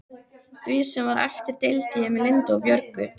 Því sem var eftir deildi ég með Lindu og Björgu.